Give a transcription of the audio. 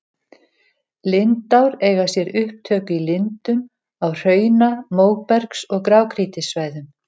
Lindár eiga sér upptök í lindum á hrauna-, móbergs- og grágrýtissvæðum.